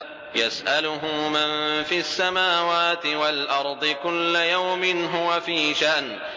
يَسْأَلُهُ مَن فِي السَّمَاوَاتِ وَالْأَرْضِ ۚ كُلَّ يَوْمٍ هُوَ فِي شَأْنٍ